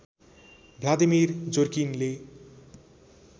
Vladimir जोरकिनले